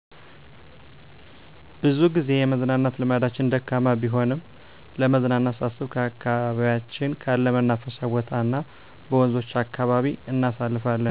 ብዙጊዜ የመዝናናት ልምዳችን ደካማ ቢሆንም ለመዝናናት ሳስብ ከአካባቢያችን ካለ መናፈሻ ቦታ እናበወንዞች አካባቢ እናሳልፋለን